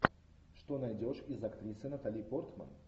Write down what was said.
что найдешь из актрисы натали портман